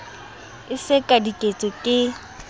e se ka diketso ke